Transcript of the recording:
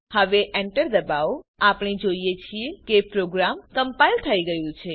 હવે enter દબાવો આપણે જોઈએ છીએ કે પ્રોગ્રામ કમ્પાઈલ થઇ ગયું છે